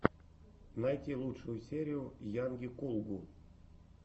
найти лучшую серию йанги кулгу